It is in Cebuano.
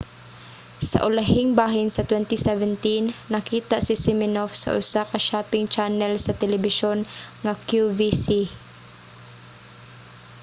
sa ulahing bahin sa 2017 nakita si siminoff sa usa ka shopping channel sa telebisyon nga qvc